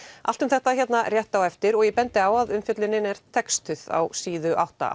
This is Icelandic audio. allt um þetta hér rétt á eftir og ég bendi á að umfjöllunin er textuð á síðu átta